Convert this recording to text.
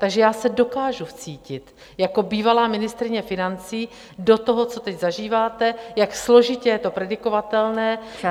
Takže já se dokážu vcítit jako bývalá ministryně financí do toho, co teď zažíváte, jak složitě je to predikovatelné...